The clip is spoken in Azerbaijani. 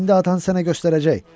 İndi atan sənə göstərəcək.